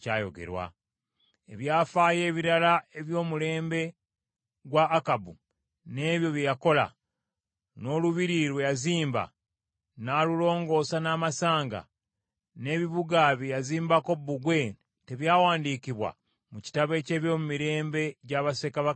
Ebyafaayo ebirala eby’omulembe gwa Akabu, n’ebyo bye yakola, n’olubiri lwe yazimba n’alulongoosa n’amasanga, n’ebibuga bye yazimbako bbugwe, tebyawandiikibwa mu kitabo eky’ebyomumirembe gya bassekabaka ba Isirayiri?